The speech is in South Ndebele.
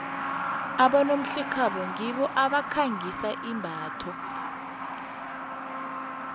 abonomhlekhabo ngibo abakhangisa imbatho